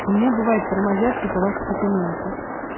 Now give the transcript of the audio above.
у меня бывает тормозят типа ваши документы